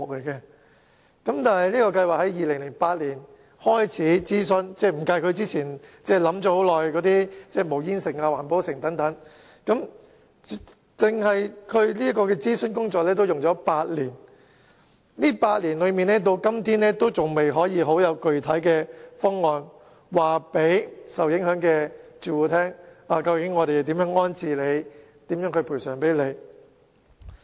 然而，這項計劃在2008年開始諮詢，還未計算在之前已考慮很久的無煙城或環保城等計劃，單是諮詢工作已花了8年，但至今仍然未有具體方案可以告訴受影響住戶，政府將如何安置及補償他們。